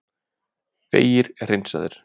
Vegir hreinsaðir